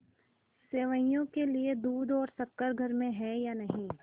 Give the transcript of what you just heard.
सेवैयों के लिए दूध और शक्कर घर में है या नहीं